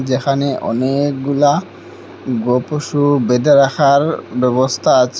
যেখানে অনেকগুলা গো পশু বেঁধে রাখার ব্যবস্থা আছে।